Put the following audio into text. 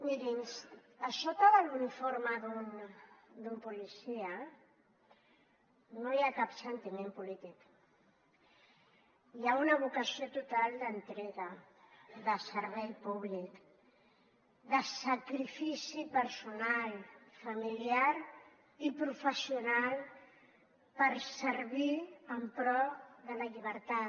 mirin a sota de l’uniforme d’un policia no hi ha cap sentiment polític hi ha una vocació total d’entrega de servei públic de sacrifici personal familiar i professional per servir en pro de la llibertat